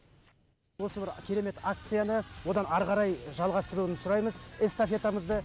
осы бір керемет акцияны одан ары қарай жалғастыруын сұраймыз эстафетамызды